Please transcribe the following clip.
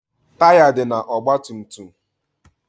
Taya dị na ọgba tum tum.